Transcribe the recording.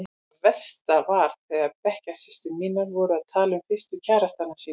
Það versta var þegar bekkjarsystur mínar voru að tala um fyrstu kærastana sína.